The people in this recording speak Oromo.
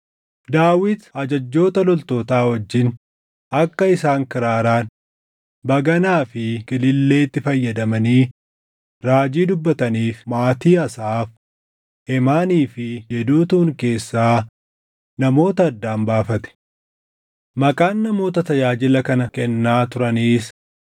Daawit ajajjoota loltootaa wajjin akka isaan kiraaraan, baganaa fi kililleetti fayyadamanii raajii dubbataniif maatii Asaaf, Heemaanii fi Yeduutuun keessaa namoota addaan baafate. Maqaan namoota tajaajila kana kennaa turaniis: